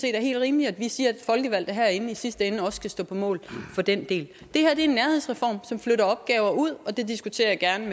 er helt rimeligt at vi siger at folkevalgte herinde i sidste ende også skal stå på mål for den del det her er en nærhedsreform som flytter opgaver ud og det diskuterer jeg gerne